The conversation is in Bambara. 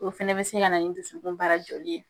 O fana bɛ se ka na ni dusukun baara joli ye.